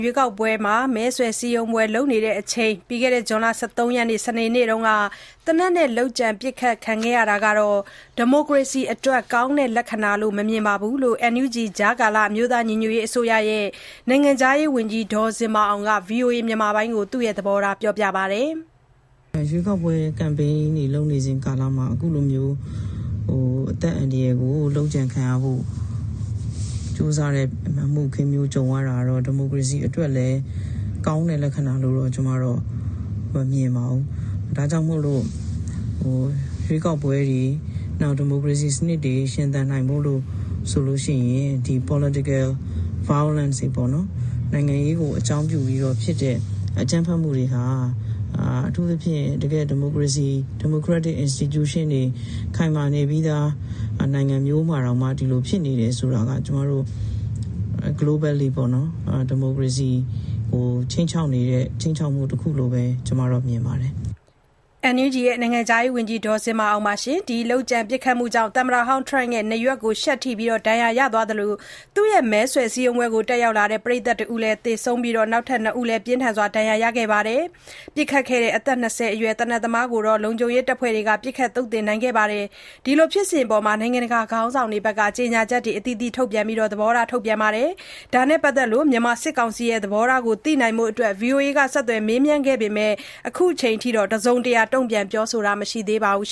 ရွေးကောက်ပွဲ မဲဆွယ်စည်းရုံးပွဲပြုလုပ်နေစဉ် ဇူလိုင် ၁၃ ရက်၊ စနေနေ့က သေနတ်နဲ့ လုပ်ကြံ ပစ်ခတ်ခံရတာဟာ ဒီမိုကရေစီအတွက် ကောင်းတဲ့လက္ခဏာလို့ မမြင်ကြောင်း NUG ကြားကာလအမျိုးသားညီညွတ်ရေးအစိုးရဲ့ နိုင်ငံခြားရေးဝန်ကြီး ဒေါ်ဇင်မာအောင်က ဗွီအိုအေကို ပြောပါတယ်။ "ရွေးကောက်ပွဲ ကမ်ပိန်းတွေလုပ်နေစဉ်ကာလမှာ အခုလိုမျိုး အသက်အန္တရယ်ကို လုပ်ကြံခံရဖို့ ကြိုးစားတဲ့ အမှုအခင်းမျိုးကြုံရတာတော့ ဒီမိုကရေစီအတွက်လည်း ကောင်းတဲ့လက္ခဏာလို့တော့ ကျွန်မတော့ မမြင်ပါဘူး။ ဒါကြောင့်မို့ ရွေးကောက်ပွဲတွေ နောက်ဒီမိုကရေစီစနစ်တွေ ရှင်သန်ဖို့အတွက်ဆိုရင် ဒီ Political Violence နိုင်ငံရေးကိုအကြောင်းပြုဖြစ်တဲ့ အကြမ်းဖက်မှုတွေဟာ အထူးသဖြင့် ဒီမိုကရက်တစ်အင်စတီကျူးရှင်းတွေ ခိုင်မာနေပြီးသားနိုင်ငံမျိုးမှာတောင်မှ ဒီလိုတွေဖြစ်နေတယ်ဆိုတာက ကျွန်မတို့ Globally ပေါ့နော် ဒီမိုကရေစီကိုခြိမ်းခြောက်နေတဲ့ ခြိမ်းခြောက်မှုတခုလို့ပဲ ကျွန်မတော့မြင်ပါတယ်။" အဲဒီ ပစ်ခတ်မှုကြောင့် သမ္မတဟောင်း Trump နားရွက်ကို ရှပ်ထိပြီး ဒဏ်ရာရသွားသလို သူ့ရဲ့ မဲဆွယ် စည်းရုံးပွဲကို တက်ရောက်လာတဲ့ ပရိတ်သတ်တဦး သေဆုံးခဲ့ပြီး နောက်ထပ် ၂ ဦးလည်း ပြင်းထန်စွာ ဒဏ်ရာရှိခဲ့ပါတယ်။ အသက် ၂၀ အရွယ် သေနတ်သမားကိုတော့ လုံခြုံရေးတပ်ဖွဲ့ဝင်တွေက ပစ်ခတ်သုတ်သင်ခဲ့ပါတယ်။ ဒီဖြစ်စဉ်အပေါ် နိုင်ငံတကာ ခေါင်းဆောင်တွေက ကြေညာချက်အသီးသီးထုတ်ပြန်ပြီး သဘောထား ထုတ်ပြန်ခဲ့ကြပါတယ်။ ဒါနဲ့ပတ်သက်လို့ မြန်မာစစ်ကောင်စီရဲ့ သဘောထားကို သိနိုင်ဖို့ ဗွီအိုအေက ဆက်သွယ် မေးမြန်းခဲ့ပေမယ့် အခုချိန်ထိ တစုံတရာ တုန့်ပြန် ပြောဆိုတာမရှိသေးပါဘူး